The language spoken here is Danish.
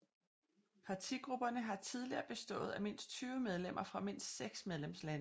Partigrupperne har tidligere bestået af mindst 20 medlemmer fra mindst seks medlemslande